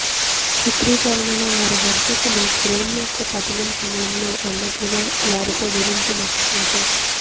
చిత్రీకరణలో వారి దర్శకులు ఫ్రేమ్ యొక్క పతనం సమయంలో అన్నట్లుగా వారితో గురించి మర్చిపోతే